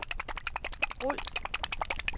rul